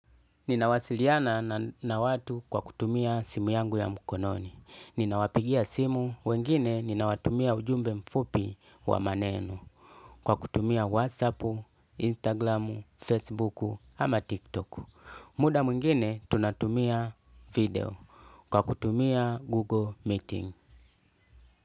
Ninawasiliana na watu kwa kutumia simu yangu ya mkononi. Ninawapigia simu, wengine ninawatumia ujumbe mfupi wa maneno. Kwa kutumia whatsapp instagram Facebook ama tiktok. Muda mwingine tunatumia video. Kwa kutumia Google Meeting.